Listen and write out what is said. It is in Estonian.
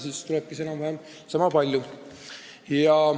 Siis tulebki välja, et on enam-vähem sama palju.